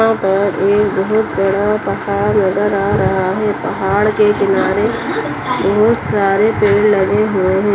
यहां पर एक बहोत बड़ा पहाड़ नजर आ रहा है पहाड़ के किनार बहोत सारे पेड़ लगे हुए हैं।